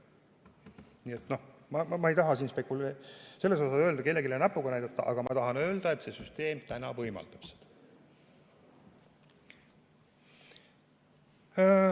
Nii et ma ei taha kellelegi näpuga näidata, aga ma tahan öelda, et see süsteem võimaldab seda.